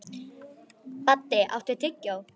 Baddi, áttu tyggjó?